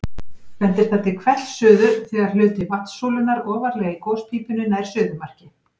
bendir það til hvellsuðu þegar hluti vatnssúlunnar ofarlega í gospípunni nær suðumarki